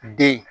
Den